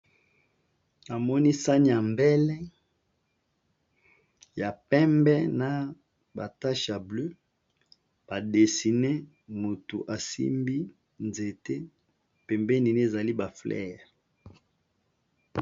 Namoni sani ya mbele ya pembe na ba tâche ya bleu ba dessiné mutu asimbi nzete pembenini ezali ba fleur.